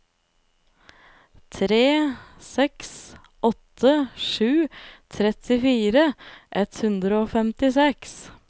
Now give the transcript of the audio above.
tre seks åtte sju trettifire ett hundre og femtiseks